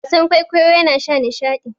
wasan kwaikwayo yana sa nishadi